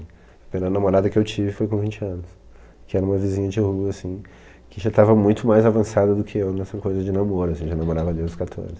A primeira namorada que eu tive foi com vinte anos, que era uma vizinha de rua, assim, que já estava muito mais avançada do que eu nessa coisa de namoro, assim, já namorava desde os quatorze.